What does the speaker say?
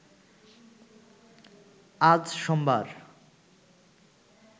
আজ সোমবার